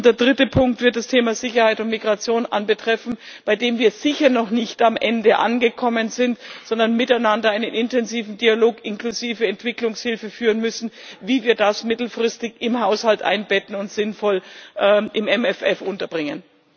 Und der dritte Punkt wird das Thema Sicherheit und Migration betreffen, bei dem wir sicher noch nicht am Ende angekommen sind, sondern miteinander einen intensiven Dialog inklusive Entwicklungshilfe führen müssen, wie wir das mittelfristig im Haushalt einbetten und sinnvoll im MFR unterbringen.